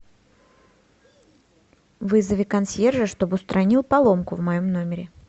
вызови консьержа чтобы устранил поломку в моем номере